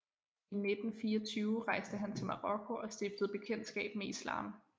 I 1924 rejste han til Marokko og stiftede bekendtskab med Islam